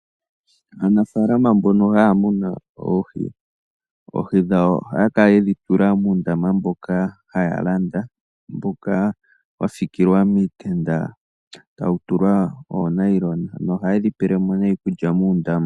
Aanafalama mbono haya munu oohi, oohi dhwo ohaya kala yedhi tula muundama mboka haya landa mboka wa sikilwa niitenda tayi tulwa oonayilona noyayedhi pelemo iikulya muundama.